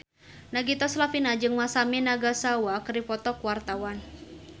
Nagita Slavina jeung Masami Nagasawa keur dipoto ku wartawan